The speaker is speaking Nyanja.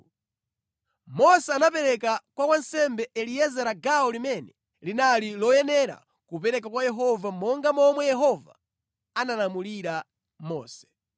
Mose anapereka kwa wansembe Eliezara gawo limene linali loyenera kupereka kwa Yehova monga momwe Yehova analamulira Mose.